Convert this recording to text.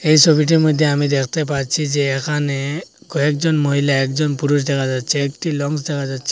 এই ছবিটির মধ্যে আমি দেখতে পাচ্ছি যে এখানে কয়েকজন মহিলা একজন পুরুষ দেখা যাচ্ছে একটা লঞ্চ দেখা যাচ্ছে।